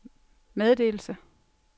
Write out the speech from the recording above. meddelelse